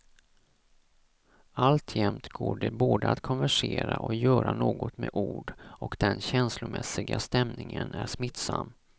Alltjämt går det både att konversera och göra något med ord och den känslomässiga stämningen är smittsam.